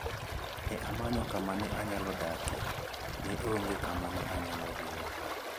Ne amanyo kama ne anyalo dakie, ne onge kama ne ayalo dhie.